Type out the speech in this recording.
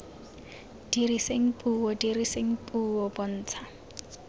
diriseng puo diriseng puo bontsha